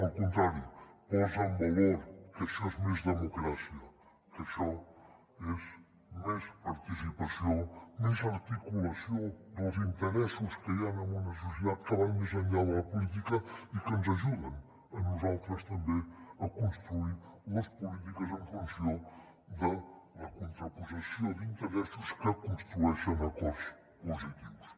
al contrari posa en valor que això és més democràcia que això és més participació més articulació dels interessos que hi han en una societat que van més enllà de la política i que ens ajuden a nosaltres també a construir les polítiques en funció de la contraposició d’interessos que construeixen acords positius